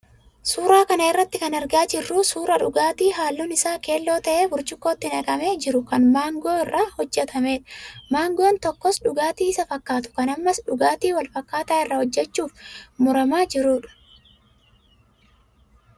Suuraa kana irraa kan argaa jirru suuraa dhugaatii halluun isaa keelloo ta'ee burcuqqootti naqamee jiru kan maangoo irraa hojjatamedha. Maangoon tokkos dhugaatii isa fakkaatu kan ammas dhugaatii wal fakkaataa irraa hojjachuuf muramaa jirudha.